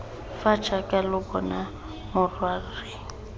fa jaaka lo bona morwarre